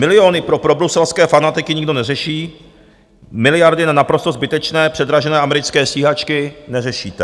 Miliony pro probruselské fanatiky nikdo neřeší, miliardy na naprosto zbytečné předražené americké stíhačky neřešíte.